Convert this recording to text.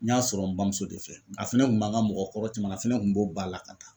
N y'a sɔrɔ n bamuso de fɛ a fɛnɛ kun b'an ka mɔgɔ kɔrɔ caman na a fana tun b'o ba la ka taa